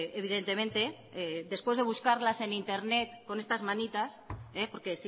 evidentemente después de buscarlas en internet con estas manitas porque